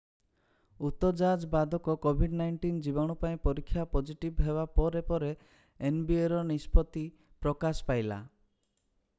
ଉତ ଯାଜ୍ ବାଦକ covid-19 ଜୀବାଣୁ ପାଇଁ ପରୀକ୍ଷା ପଜିଟିଭ୍ ହେବା ପରେ ପରେ nbaର ନିଷ୍ପତ୍ତି ପ୍ରକାଶ ପାଇଲା।